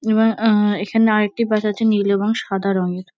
ইয়ে- আহ- এখানে আর একটি বাস আছে নীল এবং সাদা রঙের।